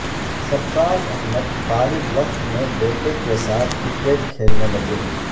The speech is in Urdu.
سرفراز احمد فارغ وقت میں بیٹے کے ساتھ کرکٹ کھیلنے لگے